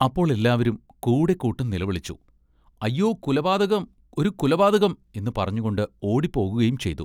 അപ്പോൾ എല്ലാവരും കൂടെ കൂട്ടം നിലവിളിച്ചു “അയ്യൊ കുലപാതകം ഒരു കുലപാതകം എന്നു പറഞ്ഞുംകൊണ്ടു ഓടിപ്പോകയും ചെയ്തു.